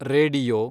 radio